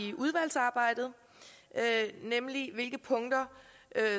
i udvalgsarbejdet 1 punkter